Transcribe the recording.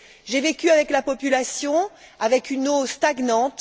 J'ai vécu avec la population, avec une eau stagnante.